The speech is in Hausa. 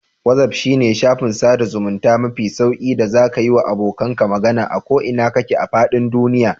Wazaf shine shafin sada zamunta mafi sauƙi da zaka yiwa abokanka magana a ko ina kake a fadin duniya.